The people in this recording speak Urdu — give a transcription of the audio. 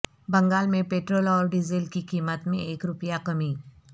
بنگال میں پٹرول اور ڈیزل کی قیمت میں ایک روپیہ کمی